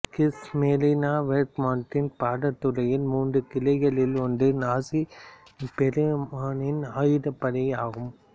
Kriegsmarine வேர்மாக்ட்டின் படைத்துறையின் மூன்று கிளைகளில் ஒன்றும் நாசி செருமனியின் ஆயுதப்படையும் ஆகும்